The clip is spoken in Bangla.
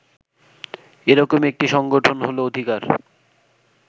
এরকমই একটি সংগঠন হল অধিকার